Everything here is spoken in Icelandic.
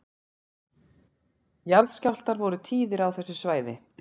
Jarðskjálftar eru tíðir á þessu svæði